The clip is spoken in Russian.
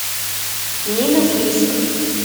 нина фриск